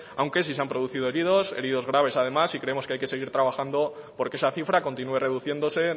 aunque sí se han producido heridos heridos graves además y creemos que hay que seguir trabajando porque esa cifra continúe reduciéndose